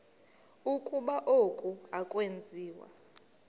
ukuba oku akwenziwa